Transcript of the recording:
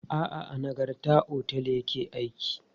A'a, a Nagarta otel ya ke aiki.